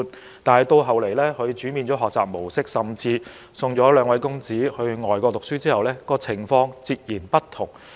後來陳議員改變了兩位公子的學習模式，甚至送他們到外國讀書後，情況便截然不同了。